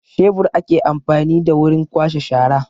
Shebur ake amfani da wurin kwashe shara